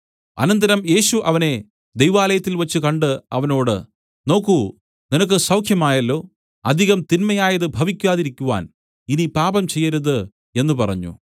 അനന്തരം യേശു അവനെ ദൈവാലയത്തിൽവച്ച് കണ്ട് അവനോട് നോക്കു നിനക്ക് സൌഖ്യമായല്ലോ അധികം തിന്മയായത് ഭവിക്കാതിരിക്കുവാൻ ഇനി പാപം ചെയ്യരുത് എന്നു പറഞ്ഞു